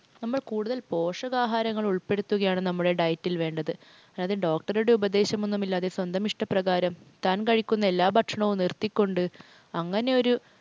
നമ്മൾ കൂടുതൽ പോഷകാഹാരങ്ങൾ ഉൾപ്പെടുത്തുകയാണ് നമ്മുടെ diet ൽ വേണ്ടത്. അത് നമ്മുടെ doctor ടെ നിർദേശമൊന്നുമില്ലാതെ സ്വന്തം ഇഷ്ടപ്രകാരം താൻ കഴിക്കുന്ന എല്ലാ ഭക്ഷണവും നിർത്തിക്കൊണ്ട് അങ്ങനെ ഒരു